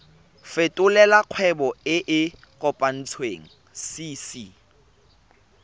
fetolela kgwebo e e kopetswengcc